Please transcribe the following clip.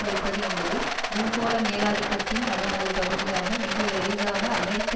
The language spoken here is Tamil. வைப்பது என்பது பூகோள மேலாதிக்கத்தின் அதன் ஒரு பகுதியாக மிக எளிதாக அமெரிக்க